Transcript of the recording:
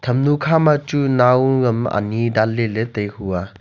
enu khama chu nao am anyi danle le tai hua.